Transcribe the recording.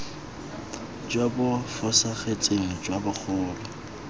jo bo fosagetseng jwa bogolo